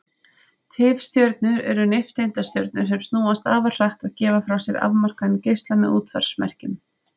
Tifstjörnur eru nifteindastjörnur sem snúast afar hratt og gefa frá sér afmarkaðan geisla með útvarpsmerkjum.